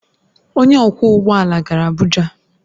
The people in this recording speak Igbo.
Onye ọkwọ ụgbọ ala gara Abuja